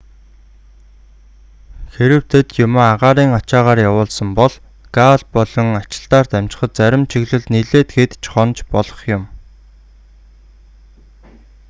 хэрэв тэд юмаа агаарын ачаагаар явуулсан бол гааль болон ачилтаар дамжихад зарим чиглэлд нилээд хэд ч хонож болох юм